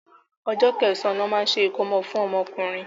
Ọjọ́ kẹsàn-án ní wọ́n máa ń ṣe ìkómọ fún ọmọ ọkùnrin.